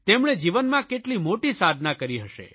તેમણે જીવનમાં કેટલી મોટી સાધના કરી હશે